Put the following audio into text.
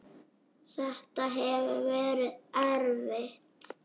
Þetta hefur verið erfitt.